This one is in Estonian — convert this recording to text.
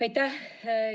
Aitäh!